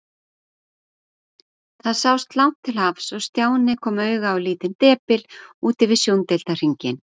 Það sást langt til hafs og Stjáni kom auga á lítinn depil úti við sjóndeildarhringinn.